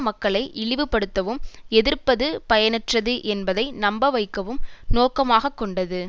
மக்களை இழிவுபடுத்தவும் எதிர்ப்பது பயனற்றது என்பதை நம்பவைக்கவும் நோக்கமாகக்கொண்டது